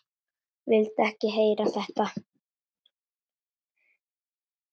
Vildi ekki heyra þetta!